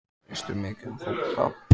Veistu mikið um fótbolta?